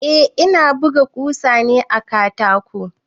Eh ina buga ƙusa ne a katako.